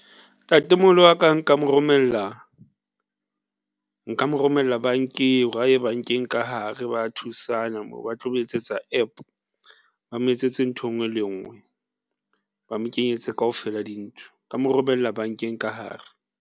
Ntate-moholo wa ka nka mo romella nka mo romella bankeng hore a ye bankeng ka hare ba thusana moo ba tlo mo etsetsa App. Ba mo etsetse ntho e ngwe le nngwe. Ba mo kenyetse kaofela dintho, nka mo romella bankeng ka hare.